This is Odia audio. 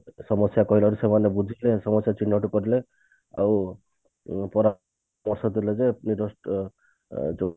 ସମସ୍ଯା କହିଲାରୁ ସେମାନେ ବୁଝି ଯିବେ ଏବଂ ସମସ୍ଯା ଚିହ୍ନଟ କରିଲେ ଆଉ ପରାମର୍ଶ ଦେଲେ ଯେ ଅ ଅ ଯୋଉ